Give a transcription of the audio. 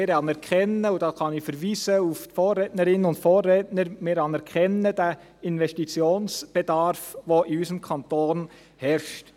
Wir anerkennen – und da kann ich auf die Vorrednerinnen und Vorredner verweisen – den Investitionsbedarf, der in unserem Kanton herrscht.